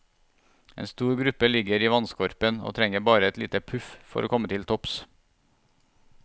En stor gruppe ligger i vannskorpen og trenger bare et lite puff for å komme til topps.